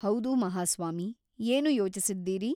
ಹೌದು ಮಹಾಸ್ವಾಮಿ ಏನು ಯೋಚಿಸಿದ್ದೀರಿ ?